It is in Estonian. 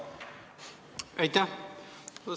Aitäh!